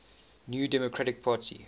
new democratic party